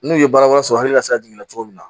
N'u ye baara wɛrɛ sɔrɔ hali la sira jiginna cogo min na